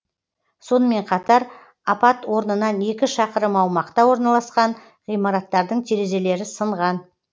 сонымен қатар апат орнынан екі шақырым аумақта орналасқан ғимараттардың терезелері сынған